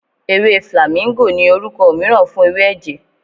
Ewé flàmíngò ni orúkọ mìíràn fún ewé ẹ̀jẹ̀.